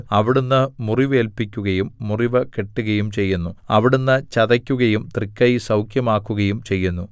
അവിടുന്ന് മുറിവേല്പിക്കുകയും മുറിവ് കെട്ടുകയും ചെയ്യുന്നു അവിടുന്ന് ചതയ്ക്കുകയും തൃക്കൈ സൗഖ്യമാക്കുകയും ചെയ്യുന്നു